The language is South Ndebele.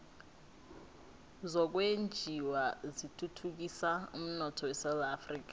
zokwenjiwa zithuthukisa umnotho esewula afrika